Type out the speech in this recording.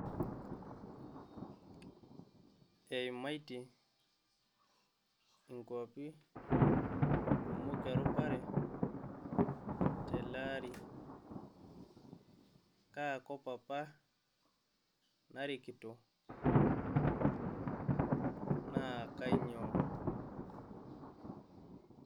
Eimaitie inkwapi kumok errupare tele ari?. kaa kop apa narikito naa kainyioo?